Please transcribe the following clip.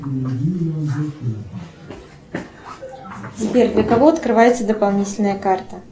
сбер для кого открывается дополнительная карта